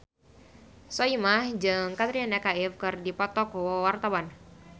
Soimah jeung Katrina Kaif keur dipoto ku wartawan